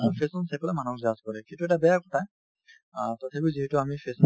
fashion চাই পেলাই মানুহক judge কৰে সেইটো এটা বেয়া কথা অ তথাপিও যিহেতু আমি fashion